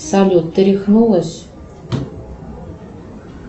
салют ты рехнулась